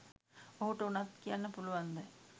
ඔහුට උනත් කියන්න පුලුවන්ද